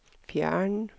fjern